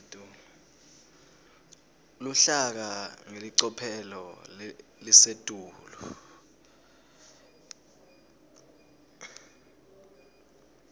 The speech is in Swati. luhlaka ngelicophelo lelisetulu